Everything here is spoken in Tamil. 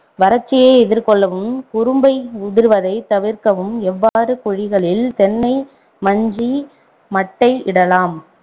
வறட்சியை எதிர்கொள்ளவும் குரும்பை உதிர்வதைத் தவிர்க்கவும் எவ்வாறு குழிகளில் தென்னை மஞ்சி மட்டை இடலாம்